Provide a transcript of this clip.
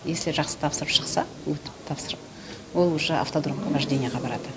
если жақсы тапсырып шықса өтіп тапсырып ол уже автодромға вождениеға барады